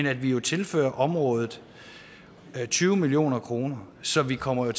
at vi tilfører området tyve million kroner så vi kommer